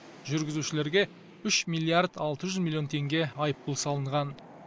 жүргізушілерге үш миллиард алты жүз миллион теңге айыппұл салынған